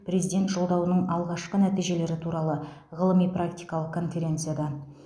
президент жолдауының алғашқы нәтижелері туралы ғылыми практикалық конференцияда